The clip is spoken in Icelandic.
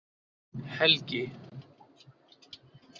Helgi